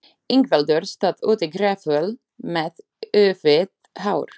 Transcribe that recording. Ingveldur stóð úti gráföl með úfið hár.